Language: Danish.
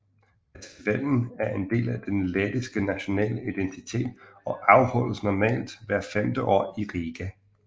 Festivalen er en del af den lettiske nationale identitet og afholdes normalt hvert femte år i Riga